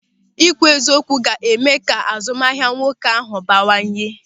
Ị kwụ eziokwu ga-eme ka azụmahịa nwoke ahụ bawanye.